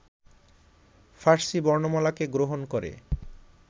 ফার্সী বর্ণমালাকে গ্রহণ করে